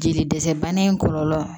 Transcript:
Jeli dɛsɛ bana in kɔlɔlɔ